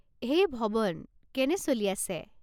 হেই ভৱন, কেনে চলি আছে?